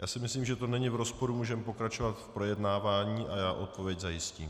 Já si myslím, že to není v rozporu, můžeme pokračovat v projednávání a já odpověď zajistím.